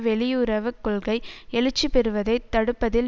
வெளியுறவு கொள்கை எழுச்சிபெறுவதை தடுப்பதில்